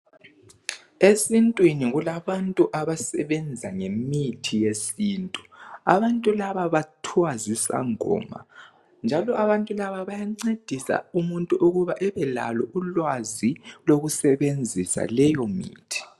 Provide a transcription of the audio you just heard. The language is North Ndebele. Esintwini kulabantu abasebenza ngemithi yesintu. Abantu laba bathwa zisangoma njalo abantu laba bayancedisa umuntu ukuba ebe lalo ulwazi lokusebenzisa leyo mithi.